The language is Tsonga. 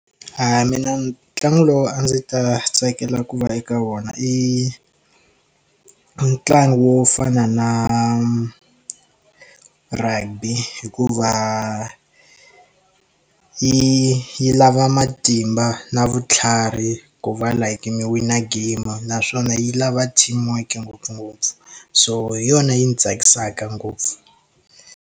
A mina ntlangu lowu a ndzi ta tsakela ku va eka wona i ntlangu wo fana na rugby hikuva yi yi lava matimba na vutlhari ku va like mi wina game naswona yi lava team work ngopfungopfu so hi yona yi ndzi tsakisaka ngopfu.